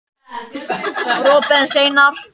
Þú ert að fara út úr raunveruleikanum.